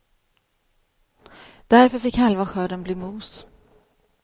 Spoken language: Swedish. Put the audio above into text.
Därför fick halva skörden bli mos.